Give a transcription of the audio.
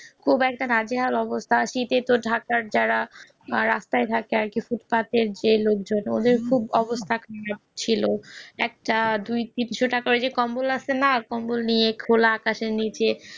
খুব একটা নাজেহাল অবস্থা ঢাকার জায়গা বা রাস্তা ফুটপাতে যে লোকজন থাকে একটা দুই তিনশো টাকার যে কম্বল আছে না কম্বল নিয়ে খোলা আকাশের নিচে